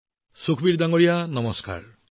Sukhbir ji namaste